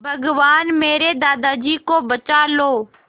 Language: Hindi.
भगवान मेरे दादाजी को बचा लो